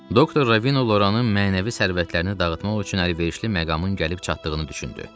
Doktor Ravino Loranın mənəvi sərvətlərini dağıtmaq üçün əlverişli məqamın gəlib çatdığını düşündü.